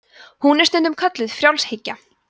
hún er stundum kölluð frjálshyggja